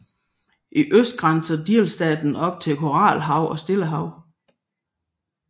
I øst grænser delstaten op til Koralhavet og Stillehavet